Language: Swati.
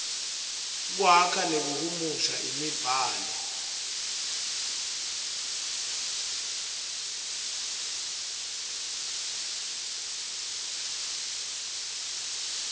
kwakha nekuhumusha imibhalo